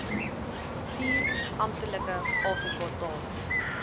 vier amptelike afrikatale